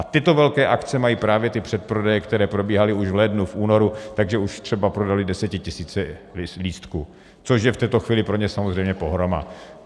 A tyto velké akce mají právě ty předprodeje, které probíhaly už v lednu, v únoru, takže už třeba prodaly desetitisíce lístků, což je v této chvíli pro ně samozřejmě pohroma.